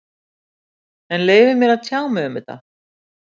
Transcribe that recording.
En leyfið mér að tjá mig um þetta.